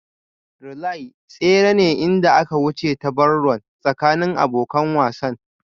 Relay tsere ne inda aka wuce ta Barron tsakanin abokan wasan